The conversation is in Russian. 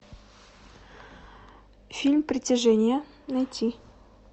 фильм притяжение найти